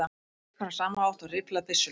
Það virkar á sama hátt og rifflað byssuhlaup.